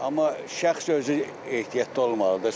Amma şəxs özü ehtiyatlı olmalıdır.